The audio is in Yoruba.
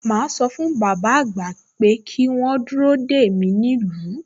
Màá sọ fún bàbá àgbà pé kí wọ́n dúró dè mí nílùú